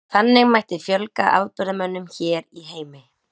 Þannig mætti fjölga afburðamönnum hér í heimi.